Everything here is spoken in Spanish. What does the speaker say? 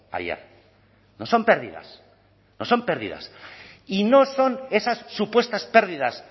ayer no son pérdidas no son pérdidas y no son esas supuestas pérdidas